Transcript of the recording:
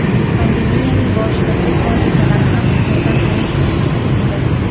Pandemiyaning boshida test vositalari ham Xitoydan xarid qilinayotgan edi.